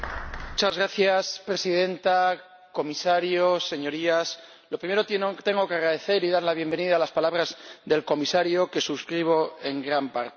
Señora Presidenta, Comisario, Señorías, lo primero que tengo que hacer es agradecer y dar la bienvenida a las palabras del Comisario, que suscribo en gran parte.